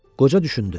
Qoca düşündü.